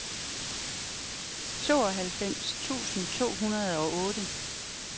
tooghalvfems tusind to hundrede og otte